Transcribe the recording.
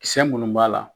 Kisɛ munnu b'a la